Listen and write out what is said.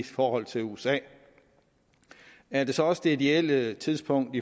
for usa usa er det så også det ideelle tidspunkt